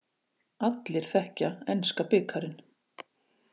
Allir þekkja enska bikarinn.